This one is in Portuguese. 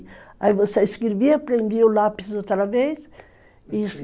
Aí você escrevia, prendia o lápis outra vez...